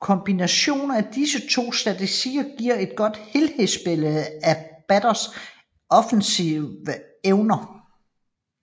Kombinationen af disse to statistikker giver et godt helhedsbillede af batterens offensive evner